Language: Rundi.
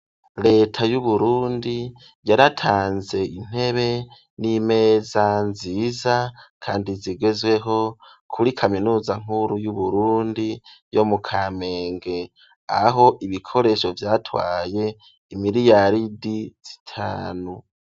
Leta y'Uburundi, yaratanze intebe n'imeza nziza kandi zigezweho kuri kaminuza nkuru y'Uburundi yo mu kamenge. Aho ibikoresho vyatwaye imiliyaridi zitanu.